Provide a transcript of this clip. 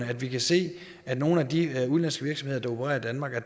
at vi kan se at nogle af de udenlandske virksomheder der opererer i danmark har